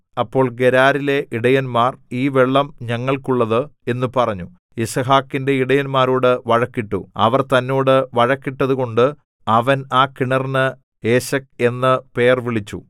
അപ്പോൾ ഗെരാരിലെ ഇടയന്മാർ ഈ വെള്ളം ഞങ്ങൾക്കുള്ളത് എന്നു പറഞ്ഞു യിസ്ഹാക്കിന്റെ ഇടയന്മാരോടു വഴക്കിട്ടു അവർ തന്നോട് വഴക്കിട്ടതുകൊണ്ട് അവൻ ആ കിണറിന് ഏശെക് എന്നു പേർവിളിച്ചു